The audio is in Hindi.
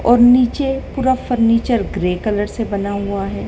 और नीचे पूरा फर्नीचर ग्रे कलर से बना हुआ है।